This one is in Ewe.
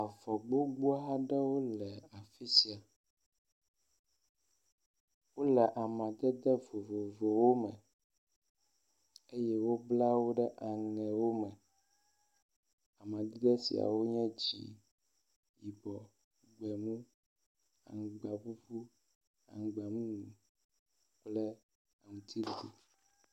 Avɔ gbogbo aɖewo le afi sia, wole amadede vovovowo eye wobla wo ɖe aŋe vovovowo. Amadede siawo nye dzɛ̃, yibɔ gbemu, aŋgba ƒuƒu, aŋgba mumu kple aŋuti ɖiɖi.